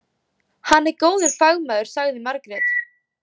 Hann er góður fagmaður, sagði Margrét.